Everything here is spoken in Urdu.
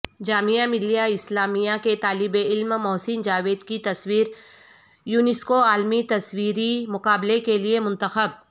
جامعہ ملیہ اسلامیہ کے طالب علم محسن جاوید کی تصویر یونیسکوعالمی تصویری مقابلے کیلئے منتخب